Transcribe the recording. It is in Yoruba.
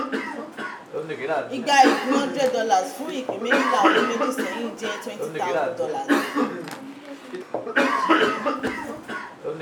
igba ìpín hundred dollars fún ìpín méjìlá ọdún méjì sẹ́yìn jẹ́ twenty thousand dollars.